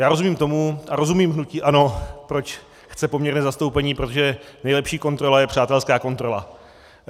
Já rozumím tomu a rozumím hnutí ANO, proč chce poměrné zastoupení - protože nejlepší kontrola je přátelská kontrola.